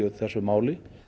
þessu máli